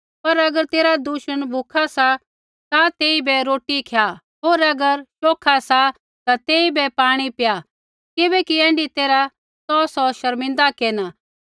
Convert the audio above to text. पर अगर तेरा दुश्मन भूखा सा ता तेइबै रोटी खय्या होर अगर प्यासा ता तेइबै पाणी पय्या किबैकि ऐण्ढी तैरहा तौ सौ शर्मिंदा केरना